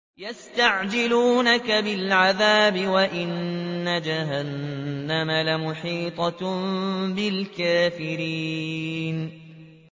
يَسْتَعْجِلُونَكَ بِالْعَذَابِ وَإِنَّ جَهَنَّمَ لَمُحِيطَةٌ بِالْكَافِرِينَ